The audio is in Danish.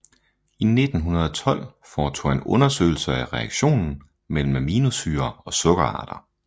I 1912 foretog han undersøgelser af reaktionen mellem aminosyrer og sukkerarter